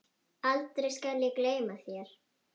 aldrei skal ég gleyma þér.